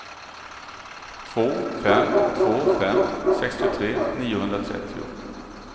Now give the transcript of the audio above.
två fem två fem sextiotre niohundratrettio